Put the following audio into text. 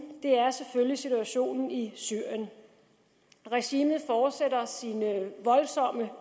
er selvfølgelig situationen i syrien regimet fortsætter sine voldsomme